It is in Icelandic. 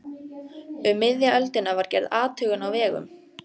Um miðja öldina var gerð athugun á vegum